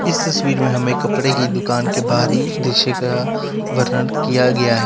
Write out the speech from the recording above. इस तस्वीर में हमें कपड़े की दुकान के बाहरी दृश्य का वर्णन किया गया है।